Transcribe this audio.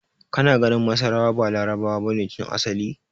Kana ga masarawa ba Larabawa bane tun asali?